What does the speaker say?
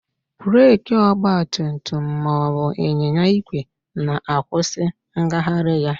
Breekị ọgbatumtum ma ọ bụ ịnyịnya igwe na-akwụsị ngagharị ya